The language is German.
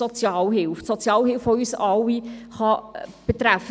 Die Sozialhilfe kann uns alle betreffen.